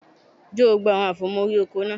Jó gbogbo àwọn àfòmọ́ órí oko náà